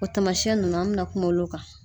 O tamasiyɛn ninnu an bɛna kuma olu kan